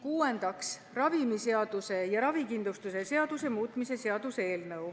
Kuuendaks, ravimiseaduse ja ravikindlustuse seaduse muutmise seaduse eelnõu.